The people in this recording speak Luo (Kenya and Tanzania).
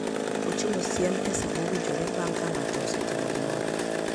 Ochiwo siem e sa mowinjore bang' ka ng'ato osetimo gimoro.